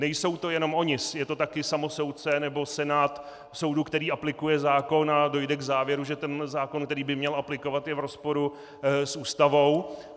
Nejsou to jenom oni, je to také samosoudce nebo senát soudu, který aplikuje zákon a dojde k závěru, že ten zákon, který by měl aplikovat, je v rozporu s Ústavou.